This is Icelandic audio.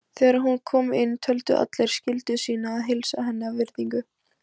Þegar hún kom inn töldu allir skyldu sína að heilsa henni af virðingu.